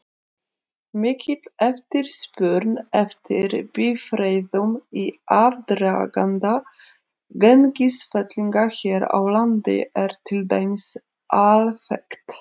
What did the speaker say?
Mikil eftirspurn eftir bifreiðum í aðdraganda gengisfellinga hér á landi er til dæmis alþekkt.